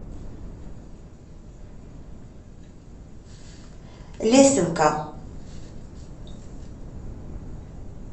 лесенка